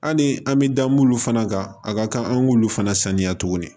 Hali an bɛ da mun fana kan a ka kan an k'olu fana saniya tuguni